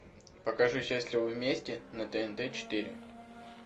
покажи счастливы вместе на тнт четыре